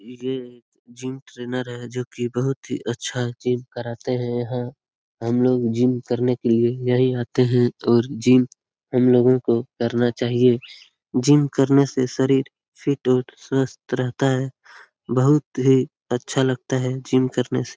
ये gym trainer है जो कि बहुत अच्छा जिम करते है | यहाँ हम लोग जिम करने के लिए यहीं आते है और जिम हम लोगो को करना चाहिए | जिम करने से शरीर फिट और स्वस्थ रहता है | बहुत ही अच्छा लगता है जिम करने से ।